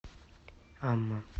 амма